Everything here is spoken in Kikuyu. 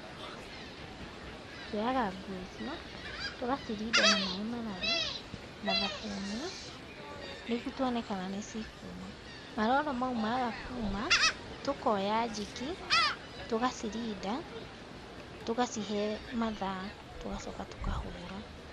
Tuoyaga nguo icio, tũgacirinda na maĩ mararu na thabuni, nĩguo tuone kana nĩcikuuma. Maroro mau maga kuuma tũkooya Jik, tũgacirinda, tũgacihe mathaa tũgacoka tũkahũũra.